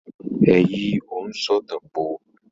Ẹ yí òǹsọ̀tàn po!